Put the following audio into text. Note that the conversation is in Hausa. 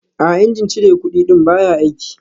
A'a, injin cire kudi ɗin baya aiki